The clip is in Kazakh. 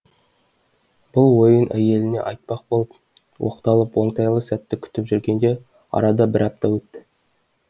бұл ойын әйеліне айтпақ болып оқталып оңтайлы сәтті күтіп жүргенде арада бір апта өтті